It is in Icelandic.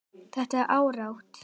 Þetta er árátta.